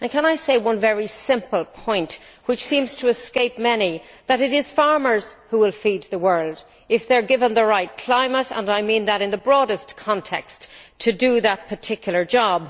Can I make one very simple point, which seems to escape many it is farmers who will feed the world if they are given the right climate and I mean that in the broadest context to do that particular job.